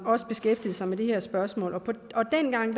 også beskæftigede sig med det her spørgsmål og dengang